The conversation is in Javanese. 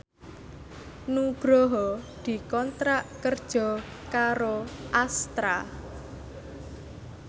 Nugroho dikontrak kerja karo Astra